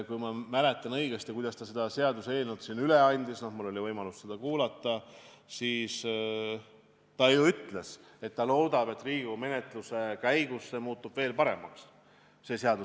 Kui ma õigesti mäletan seda, kuidas ta selle seaduseelnõu siin üle andis – mul oli võimalus seda kuulata –, siis ta ju ütles, et ta loodab, et Riigikogu menetluse käigus muutub see seaduseelnõu veel paremaks.